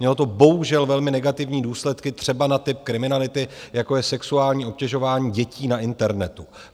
Mělo to bohužel velmi negativní důsledky třeba na typ kriminality, jako je sexuální obtěžování dětí na internetu.